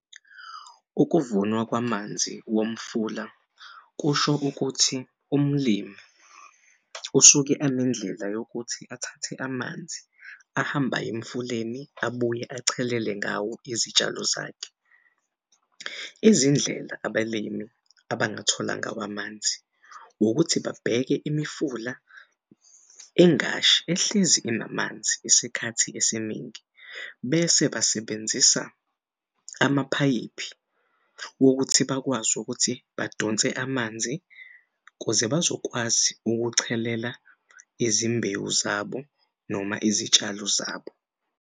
Ukuvunwa kwamanzi womfula kusho ukuthi umlimi usuke enendlela yokuthi athathe amanzi ahambe aye emfuleni abuye achelele ngawo izitshalo zakhe. Izindlela abalimi abangathola ngawo amanzi wokuthi babheke imifula engashi ehlezi inamanzi isikhathi esiningi bese basebenzisa amaphayiphi wokuthi bakwazi ukuthi badonse amanzi kuze bazokwazi ukuchelela izimbewu zabo noma izitshalo zabo.